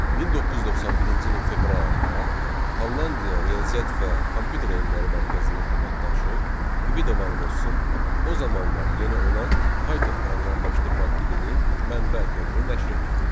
1991-ci ilin fevral ayında Hollandiya Riyaziyyat və Kompüter Elmləri Mərkəzinin əməkdaşı Qvido Van Rossum o zamanlar yeni olan Python proqramlaşdırma dilinin mənbə kodunu nəşr etdi.